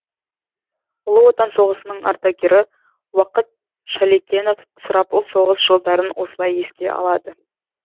ұлы отан соғысының ардагері уақыт шалекенов сұрапыл соғыс жылдарын осылай еске алады